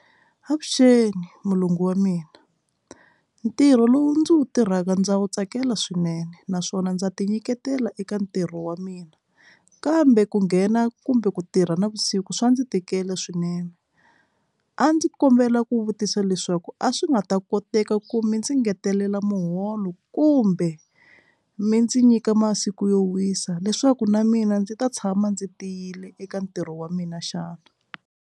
Avuxeni mulungu wa mina ntirho lowu ndzi wu tirhaka ndza wu tsakela swinene naswona ndza ti nyiketela eka ntirho wa mina kambe ku nghena kumbe ku tirha navusiku swa ndzi tikela swinene a ndzi kombela ku vutisa leswaku a swi nga ta koteka ku mi ndzi engetelela muholo kumbe mi ndzi nyika masiku yo wisa leswaku na mina ndzi ta tshama ndzi tiyile eka ntirho wa mina xana.